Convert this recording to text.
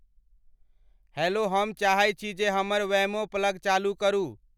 hello हम चाहे छी जे हमर वैमो प्लग चालू करु